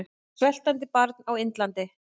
Sveltandi barna á Indlandi!